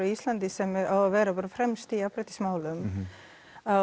Íslandi sem á að vera fremst í jafnréttismálum að